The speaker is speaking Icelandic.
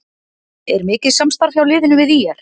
Er mikið samstarf hjá liðinu við ÍR?